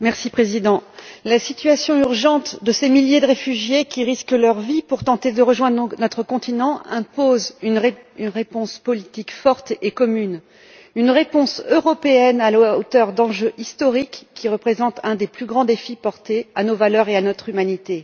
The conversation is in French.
Monsieur le Président, la situation urgente de ces milliers de réfugiés qui risquent leur vie pour tenter de rejoindre notre continent impose une réponse politique forte et commune, une réponse européenne à la hauteur d'enjeux historiques qui représentent un des plus grands défis portés à nos valeurs et à notre humanité.